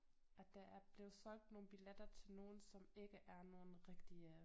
At der er blevet solgt nogle billetter til nogle som ikke er nogle rigtige